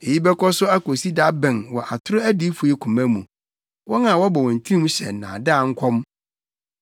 Eyi bɛkɔ so akosi da bɛn wɔ atoro adiyifo yi koma mu? Wɔn a wɔbɔ wɔn tirim hyɛ nnaadaa nkɔm?